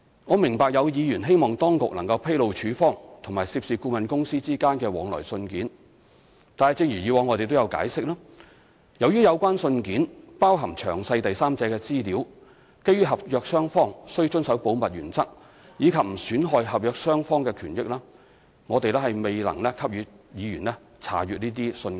我明白有議員希望當局能披露署方及涉事顧問公司之間的往來信件，但正如以往我們所解釋，由於有關信件包含詳細第三者資料，基於合約雙方須遵守保密原則，以及不損害合約雙方的權益，我們未能給予議員這些信件。